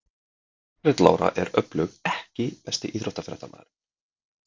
Margrét Lára er öflug EKKI besti íþróttafréttamaðurinn?